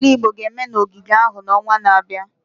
Omenala Igbo ga-eme n'ogige ahụ n'ọnwa na-abịa.